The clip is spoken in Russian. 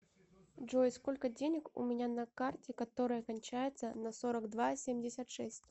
джой сколько денег у меня на карте которая кончается на сорок два семьдесят шесть